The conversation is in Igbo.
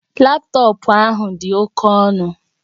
Laptọọpụ ahụ dị oke ọnụ